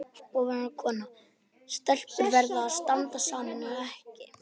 Ónefnd kona: Stelpur verða að standa saman, er það ekki?